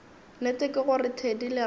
nnete ke gore thedi lerato